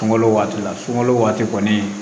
Sunkalo waati la sunkalo waati kɔni